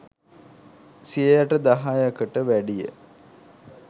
සියයට දහයකට වැඩිය